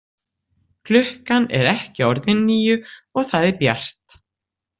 Klukkan er ekki orðin níu og það er bjart.